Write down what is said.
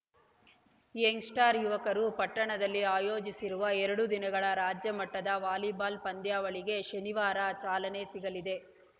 Young Star ಯುವಕರು ಪಟ್ಟಣದಲ್ಲಿ ಆಯೋಜಿಸಿರುವ ಎರಡು ದಿನಗಳ ರಾಜ್ಯ ಮಟ್ಟದ ವಾಲಿಬಾಲ್‌ ಪಂದ್ಯಾವಳಿಗೆ ಶನಿವಾರ ಚಾಲನೆ ಸಿಗಲಿದೆ